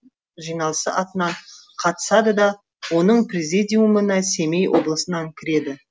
жиналысы атынан қатысады да оның президиумына семей облысынан кіреді